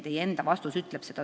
Teie enda vastus ütleb seda.